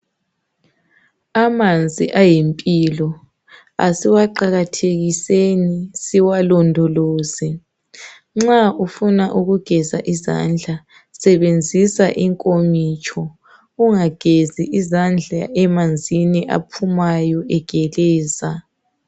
Amanzi ayimpilo. Asiwaqakathekiseni siwalondoloze. Nxa ufuna ukugeza izandla sebenzisa inkomitsho, ugezi izandla emanzini aphumayo egeleza.